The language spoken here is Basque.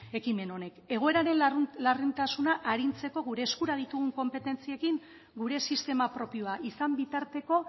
ekimen honek egoeraren larritasuna arintzeko gure eskura ditugun konpetentziekin gure sistema propioa izan bitarteko